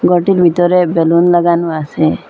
ঘরটির ভিতরে বেলুন লাগানো আসে।